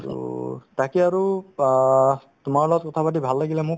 so, তাকে আৰু অহ্ তোমাৰ লগত কথা পাতি ভাল লাগিলে মোক